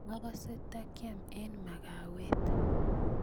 akase ndakiam eng makawet